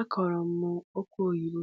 Akụrụ m okwe oyibo